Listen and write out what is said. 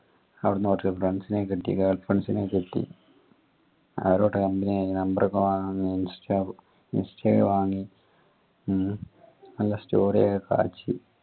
അവിടുന്ന് കിട്ടി girlfriends നെ കിട്ടി അവരോട് company ആയി number ഒക്കെ വാങ്ങി വാങ്ങി ഹും നല്ല കാഴ്ചയും